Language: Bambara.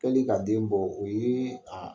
Kɛli ka den bɔ o ye a